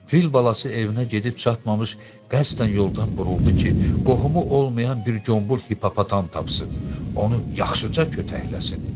Fil balası evinə gedib çatmamış qəsdən yoldan buruldu ki, qohumu olmayan bir qombol hipopotam tapsın, onu yaxşıca kötəkləsin.